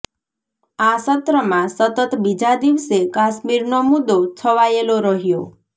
આ સત્રમાં સતત બીજા દિવસે કાશ્મીરનો મુદ્દો છવાયેલો રહ્યો